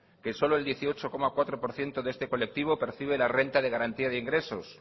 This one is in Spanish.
que solo el dieciocho coma cuatro por ciento de este colectivo percibe la renta de garantía de ingresos